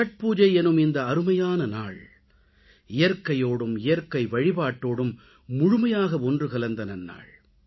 சத்பூஜை எனும் இந்த அருமையான நாள் இயற்கையோடும் இயற்கை வழிபாட்டோடும் முழுமையாக ஒன்று கலந்த நன்னாள்